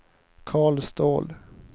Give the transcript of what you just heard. Carl Ståhl